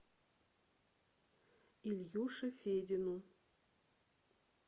ильюше федину